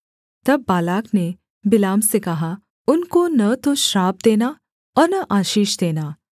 तब बालाक ने बिलाम से कहा उनको न तो श्राप देना और न आशीष देना